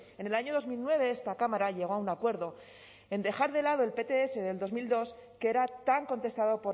en el año dos mil nueve esta cámara llegó a un acuerdo en dejar de lado el pts del dos mil dos que era tan contestado